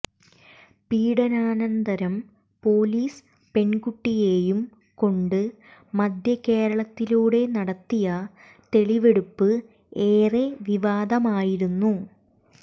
പീഡനാനന്തരം police പെൺകുട്ടിയേയും കൊണ്ട് മദ്ധ്യകേരളത്തിലൂടെ നടത്തിയ തെളിവെടുപ്പ് ഏറെ വിവാദമായിരുന്നു